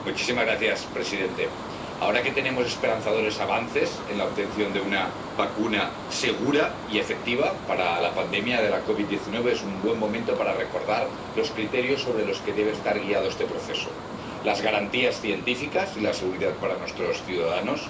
Señor presidente, ahora que tenemos esperanzadores avances en la obtención de una vacuna segura y efectiva para la pandemia de COVID 19, es un buen momento para recordar los criterios que deben guiar este proceso las garantías científicas y la seguridad para nuestros ciudadanos